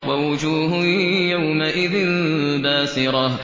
وَوُجُوهٌ يَوْمَئِذٍ بَاسِرَةٌ